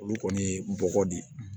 Olu kɔni ye n bɔgɔ de ye